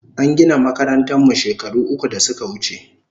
An gina makarantan mu shekaru uku da suka wuche